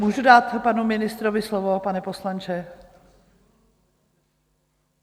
Můžu dát panu ministrovi slovo, pane poslanče?